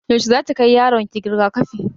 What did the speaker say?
Yaushe zaki kai yaronki riga-kafi?